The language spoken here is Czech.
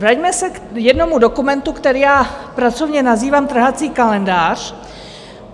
Vraťme se k jednomu dokumentu, který já pracovně nazývám trhací kalendář.